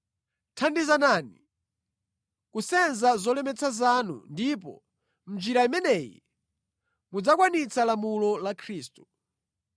Thandizanani kusenza zolemetsa zanu, ndipo mʼnjira imeneyi mudzakwanitsa lamulo la Khristu.